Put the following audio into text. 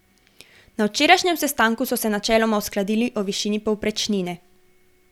Na včerajšnjem sestanku so se načeloma uskladili o višini povprečnine.